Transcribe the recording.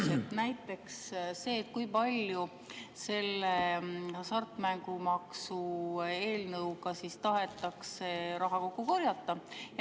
Näiteks see, kui palju selle hasartmängumaksu eelnõu kohaselt tahetakse raha kokku korjata.